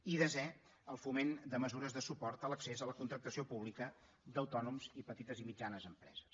i desè el foment de mesures de suport a l’accés a la contractació pública d’autònoms i petites i mitjanes empreses